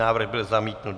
Návrh byl zamítnut.